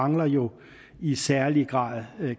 mangler jo i særlig grad